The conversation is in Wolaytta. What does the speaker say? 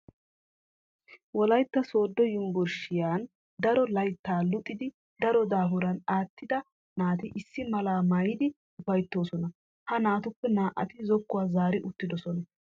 Wolaytta Sooddo yunbburshshiyan daro layttaa luxiiddi daro daafuran aattida naati issi malaa maayidi ufayttoosona. Ha naatuppe naa"ati zokkuwa zaari uttidosona.